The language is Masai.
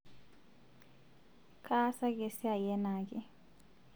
kaasaki esiai enaake